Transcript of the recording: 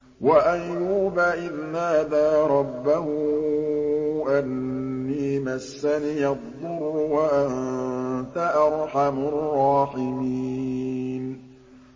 ۞ وَأَيُّوبَ إِذْ نَادَىٰ رَبَّهُ أَنِّي مَسَّنِيَ الضُّرُّ وَأَنتَ أَرْحَمُ الرَّاحِمِينَ